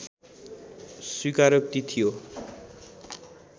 स्वीकारोक्ति थियो